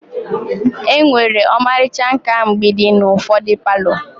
Enwere ọmarịcha nkà mgbidi n'ufodi palo.